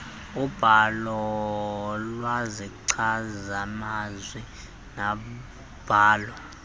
ubhalo lwezichazimazwi nobhalo